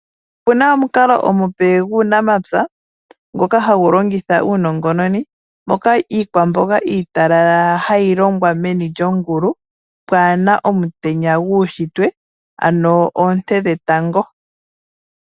Opuna omukalo omupe guunamapya ngoka hagu longitha uunongononi mono iikwamboga iitalala gayi longwa meni lyongulu pwaana omutenya guushitwe ano oonte dhetango.